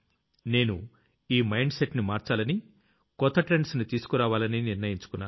నేను ఈ mind set ని మార్చాలని కొత్త ట్రెండ్స్ ని తీసుకురావాలని నిర్ణయించుకున్నాను